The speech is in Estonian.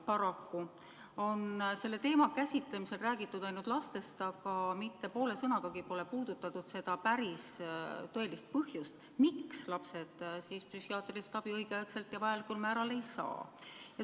Paraku on selle teema käsitlemisel räägitud ainult lastest, aga mitte poole sõnagagi pole puudutatud seda päris tõelist põhjust, miks lapsed psühhiaatrilist abi õigeaegselt ja vajalikul määral ei saa.